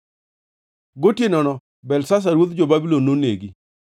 Gotienono Belshazar ruodh jo-Babulon nonegi,